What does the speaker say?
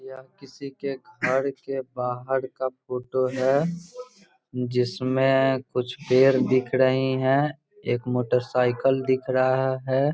यह किसी घर के बाहर का फोटो है जिसमें कुछ पेड़ दिख रहे हैं एक मोटर साइकिल दिख रहा है ।